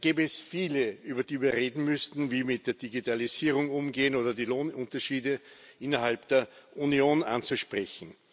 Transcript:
Da gäbe es viele, über die wir reden müssten wie mit der Digitalisierung umgehen oder die Lohnunterschiede innerhalb der Union anzusprechen.